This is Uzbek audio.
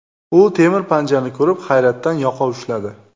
U temir panjani ko‘rib, hayratdan yoqa ushladi”.